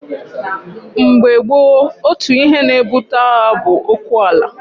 Mgbe gboo, otu ihe na-ebute agha bụ okwu ala.